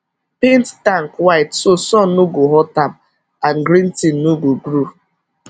paint tank white so sun no go hot am and green thing no go grow